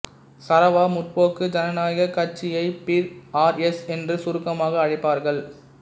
Sarawak முற்போக்கு ஜனநாயக கட்சியை பி ஆர் எஸ் என்று சுருக்கமாக அழைப்பார்கள்